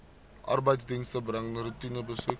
arbeidsdienste bring roetinebesoeke